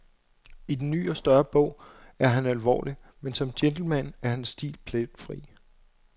I den ny og større bog er han alvorlig, men som gentleman er hans stil pletfri.